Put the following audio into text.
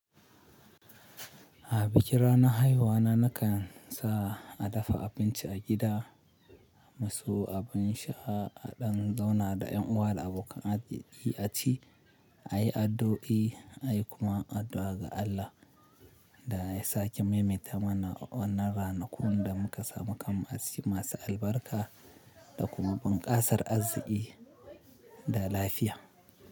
A bikin ranar haihuwana nakan sa a dafa abinci a gida, mu sawo abin sha, a ɗan zauna da yan uwa da abokan arziki, a ci, a yi addu'o'i, a yi kuma addu'a ga Allah da ya sake maimaita mana wannan ranakun da muka samu kanmu aciki masu albarka da kuma bunƙasar arziki da lafiya.